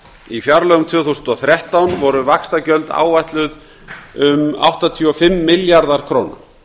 í fjárlögum tvö þúsund og þrettán voru vaxtagjöld áætluð um áttatíu og fimm milljarðar króna